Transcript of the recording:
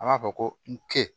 An b'a fɔ ko n ke